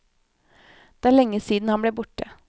Det er lenge siden han ble borte.